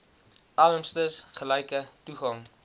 armstes gelyke toegang